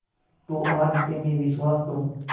तो आज से मैं विश्वास करूँ